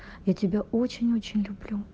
я тебя очень-очень люблю